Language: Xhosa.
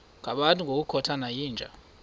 ngabantu ngokukhothana yinja